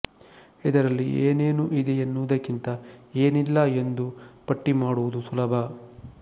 ಇದರಲ್ಲಿ ಏನೆನು ಇದೆ ಎನ್ನುವುದಕ್ಕಿಂತ ಏನಿಲ್ಲ ಎಂದು ಪಟ್ಟಿಮಾಡುವುದು ಸುಲಭ